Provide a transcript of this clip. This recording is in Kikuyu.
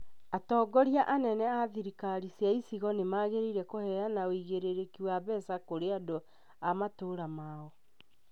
Atongoria anene a thirikari cia Icigo nĩ magĩrĩire kũheana ũigĩrĩrĩki wa mbeca kũrĩ andũ a matũra mao